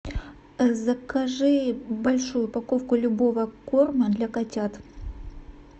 закажи большую упаковку любого корма для котят